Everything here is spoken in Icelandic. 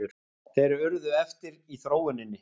Þeir urðu eftir í þróuninni.